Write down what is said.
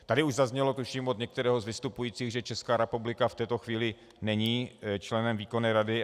Tady už zaznělo, tuším od některého z vystupujících, že Česká republika v této chvíli není členem výkonné rady.